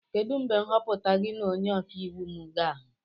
Kedu mgbe nhọpụta gị na onye ọka iwu m ga ahu?